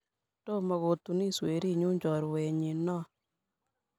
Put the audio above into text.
Tomo kotunis werinyu, choruenyi noo.